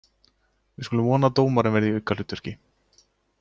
Við skulum vona að dómarinn verði í aukahlutverki.